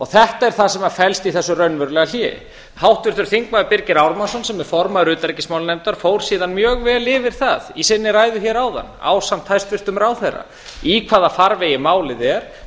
þetta er það sem felst í þessu raunverulega hléi háttvirtur þingmaður birgir ármannsson sem er formaður utanríkismálanefndar fór síðan mjög vel yfir það í sinni ræðu hér áðan ásamt hæstvirtum ráðherra í hvaða farvegi málið er